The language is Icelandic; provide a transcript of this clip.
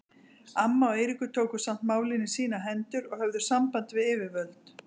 Amma og Eiríkur tóku samt málin í sínar hendur og höfðu samband við yfirvöld.